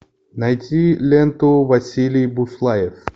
найти ленту василий буслаев